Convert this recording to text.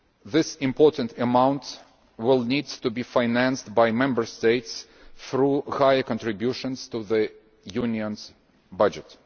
This large amount will need to be financed by Member States through higher contributions to the Union's budget.